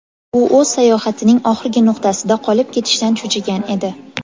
U o‘z sayohatining oxirgi nuqtasida qolib ketishdan cho‘chigan edi”.